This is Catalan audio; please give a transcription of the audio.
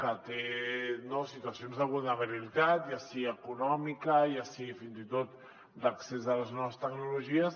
que té situacions de vulnerabilitat ja sigui econòmica ja sigui fins i tot d’accés a les noves tecnologies